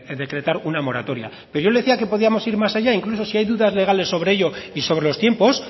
decretar una moratoria pero yo le decía que podíamos ir más allá incluso si hay dudas legales sobre ello y sobre los tiempos